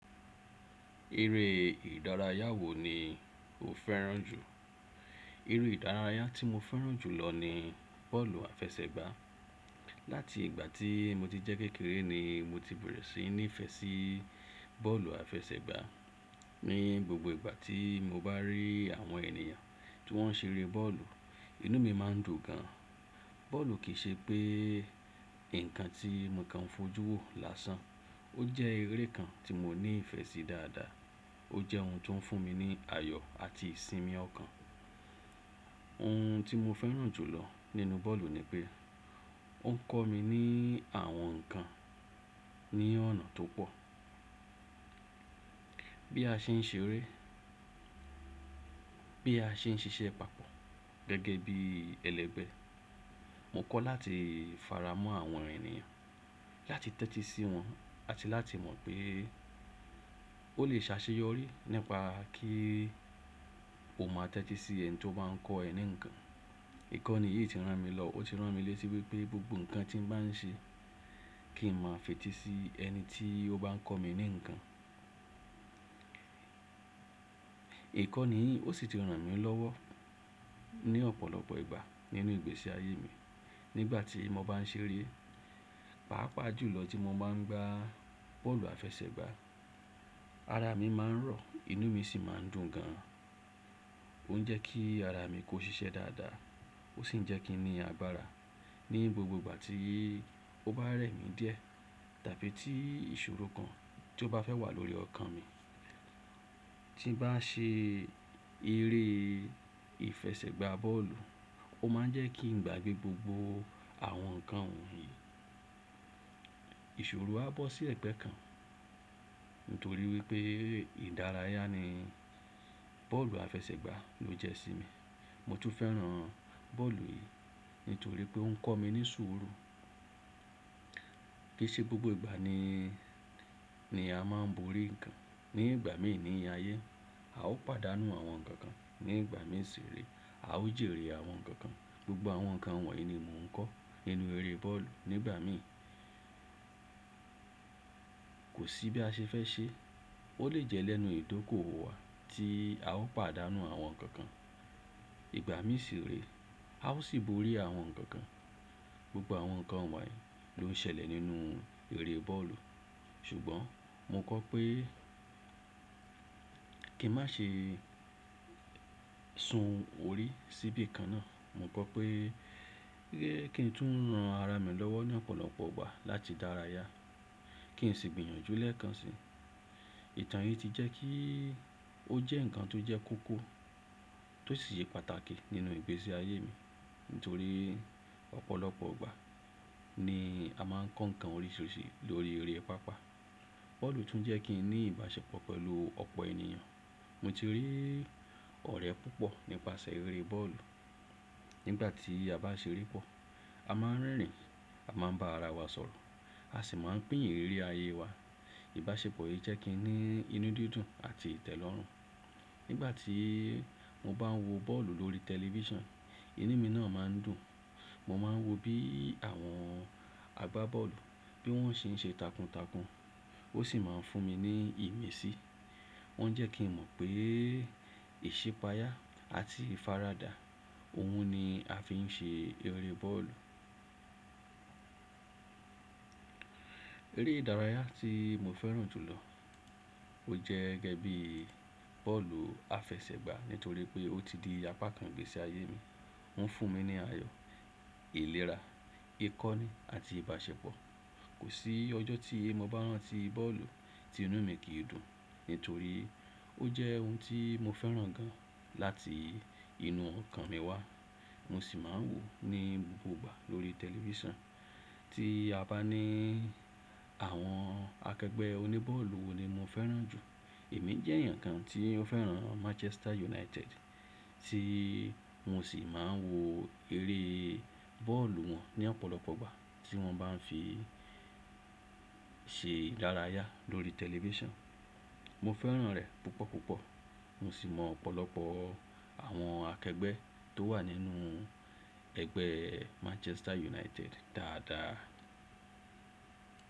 Erẹ́ ìdárayá wo ni o fẹ́ràn jù? Erẹ́ ìdárayá tí mo fẹ́ràn jù lọ ni bọ́ọ̀lù àfẹsẹ̀gbà. Láti ìgbà tí mo ti jẹ́ kékeré ni mo ti bẹ̀rẹ̀ sí ní fẹ́ sí bọ́ọ̀lù àfẹsẹ̀gbà. Ní gbogbo ìgbà tí mo bá rí àwọn ènìyàn tí wọ́n ṣe eré bọ́ọ̀lù, inú mi máa ń dùn gan. Bọ́ọ̀lù kì í ṣe pé nǹkan tí mo kan fojú wò lásán, ó jẹ́ erẹ́ kan tí mo ní ìfẹ́ sí dáadáa. Ó jẹ́ ohun tó ń fún mi ní ayọ̀ àti ìsinmi ọkàn. Ohun tí mo fẹ́ràn jù lọ nínú bọ́ọ̀lù ni pé ó ń kọ́ mi ní àwọn nǹkan ní ọ̀nà tó pọ̀. Bí a ṣe ń ṣe eré, bí a ṣe ń ṣe iṣẹ́ papọ̀ gẹ́gẹ́ bí ẹlẹgbẹ́, mo kọ́ láti fara mọ́ àwọn ènìyàn, láti tẹ́tí sí wọn àti láti mọ̀ pé ó lè ṣaṣeyọrí nípa kí o má tẹ́tí sí ẹni tí o bá ń kọ ẹ ní nǹkan. Ìkọ́ni yìí ti ràn mí lọ, ó ti ràn mí létí wípé gbogbo nǹkan tí mo bá ń ṣe kí n máa fetí sí ẹni tí ó bá ń kọ́ mi ní nǹkan. Ìkọ́ni yìí ó sì ti ràn mí lọ́wọ́ ní ọ̀pọ̀lọpọ̀ ìgbà nínú ìgbésí ayé mi. Nígbà tí mo bá ń ṣe eré, pàápàá jùlọ tí mo bá ń gbá bọ́ọ̀lù àfẹsẹ̀gbà, ara mi máa ń rọ, inú mi sì máa ń dùn gan. Ó ń jẹ́ kí ara mi kó ṣiṣẹ́ dáadáa ó sì ń jẹ́ kí n ní agbára ní gbogbo ìgbà tí ó bá rẹ̀ mí díẹ̀ tàbí tí ìṣòro kan tí ó bá fẹ́ wà lórí ọkàn mi. Tí mo bá ṣe eré ìfẹsẹ̀gbà bọ́ọ̀lù, ó máa ń jẹ́ kí n gbàgbé gbogbo àwọn nǹkan wọ̀nyí. Ìṣòro á bọ́ sí ẹ̀gbẹ́ kan nítorí wípé ìdárayá ni bọ́ọ̀lù àfẹsẹ̀gbà ló jẹ́ sí mi. Mo tún fẹ́ràn bọ́ọ̀lù yìí nítorí pé ó ń kọ́ mi ní sùúrù. Kì í ṣe gbogbo ìgbà ni, ni a máa ń borí nǹkan. Ni ìgbà mí ìní ayé, a ó pàdánù àwọn nǹkan kan. Ni ìgbà mí ṣe eré, a ó jèrè àwọn nǹkan kan. Gbogbo àwọn nǹkan wọ̀nyí ni mò ń kọ́ nínú eré bọ́ọ̀lù nígbà mí. Kò sí bí a ṣe fẹ́ ṣe, ó lè jẹ́ lẹ́nu ìdókòwò wa tí a ó pàdánù àwọn nǹkan kan. Ìgbà mí si ré, a ó sì borí àwọn nǹkan kan. Gbogbo àwọn nǹkan wọ̀nyí ló ń ṣẹlẹ̀ nínú eré bọ́ọ̀lù. Ṣùgbọ́n mo kọ́ pé kí n má ṣe sun orí síbí nǹkan náà. Mo kọ́ pé kí n tún ran ara mi lọ́wọ́ ní ọ̀pọ̀lọpọ̀ ìgbà láti dárayá, kí n sì gbìyànjú lẹ́ẹ̀kan si. Ìtàn yìí ti jẹ́ kí ó jẹ́ nǹkan tó jẹ́ kókó tó sì ṣe pàtàkì nínú ìgbésí ayé mi. Nítorí ọ̀pọ̀lọpọ̀ ìgbà ni a máa ń kọ́ nǹkan oríṣiríṣi lórí eré pápá. Bọ́ọ̀lù tún jẹ́ kí n ní ìbáṣepọ̀ pẹ̀lú ọ̀pọ̀ ènìyàn. Mo ti rí ọ̀rẹ́ púpọ̀ nípasẹ̀ eré bọ́ọ̀lù. Nígbà tí a bá ṣe eré pọ̀, a máa ń rìn, a máa ń bá ara wa sọ̀rọ̀, a sì máa ń pín ìrírí ayé wa. Ìbáṣepọ̀ yìí jẹ́ kí n ní inú dídùn àti ìtẹ́lọ́rùn. Nígbà tí mo bá ń wo bọ́ọ̀lù lórí tẹlifíṣàn, inú mi náà máa ń dùn. Mo máa ń wo bí àwọn agbábọ́ọ̀lù bí wọ́n ṣe ń ṣe takuntakun, ó sì máa ń fún mi ní ìmísí. Wọ́n jẹ́ kí n mọ̀ pé ìṣipayà àti ìfaradà ohun ni a fi ń ṣe eré bọ́ọ̀lù. Erẹ́ ìdárayá tí mo fẹ́ràn jù lọ ó jẹ́ gẹ́gẹ́ bí bọ́ọ̀lù àfẹsẹ̀gbà nítorí pé ó ti di apá kan ìgbésí ayé mi. Ó ń fún mi ní ayọ̀, ìlera, ìkọ́ni àti ìbáṣepọ̀. Kò sí ọjọ́ tí mo bá rántí bọ́ọ̀lù tí inú mi kì í dùn, nítorí ó jẹ́ ohun tí mo fẹ́ràn gan láti inú ọkàn mi wá. Mo sì máa ń wò ó ní gbogbo ìgbà lórí tẹlifíṣàn. Ti a bá ní àwọn akẹgbẹ́ oní bọ́ọ̀lù wo ni mo fẹ́ràn jù? Èmi jẹ́ èèyàn kan tí ó fẹ́ràn Manchester United tí mo sì máa ń wo eré bọ́ọ̀lù wọn ní ọ̀pọ̀lọpọ̀ ìgbà tí wọ́n bá ń fi ṣe ìdárayá lórí tẹlifíṣàn. Mo fẹ́ràn rẹ̀ púpọ̀púpọ̀. Mo sì mọ̀ ọ̀pọ̀lọpọ̀ àwọn akẹgbẹ́ tó wà nínú ẹgbẹ́ Manchester United dáadáa.